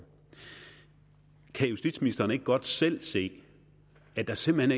kan justitsministeren ikke godt selv se at der simpelt